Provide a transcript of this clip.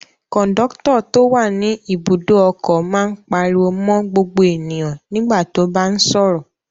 Kọ̀ńdọ́tọ̀ tó wà ní Ibùdó-ọkọ̀ máa ń pariwo mọ́ gbogbo ènìyàn nígbà tó bá ń sọ̀rọ̀.